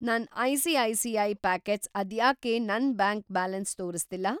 ನನ್‌ ICICI. Pockets ಅದ್ಯಾಕೆ ನನ್‌ ಬ್ಯಾಂಕ್‌ ಬ್ಯಾಲೆನ್ಸ್‌ ತೋರಿಸ್ತಿಲ್ಲ?